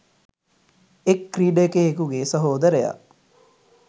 එක් ක්‍රීඩකයෙකුගේ සහෝදරයා